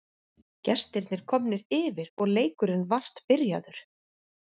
Gestirnir komnir yfir og leikurinn vart byrjaður.